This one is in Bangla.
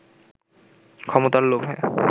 ক্ষমতার লোভে